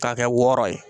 K'a kɛ wɔɔrɔ ye